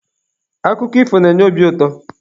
Akụkọ ifo na-enye obi ụtọ.